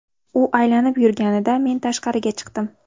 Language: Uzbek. U aylanib yurganida, men tashqariga chiqdim.